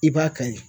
I b'a ka ye